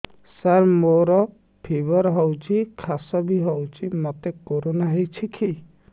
ସାର ମୋର ଫିବର ହଉଚି ଖାସ ବି ହଉଚି ମୋତେ କରୋନା ହେଇଚି କି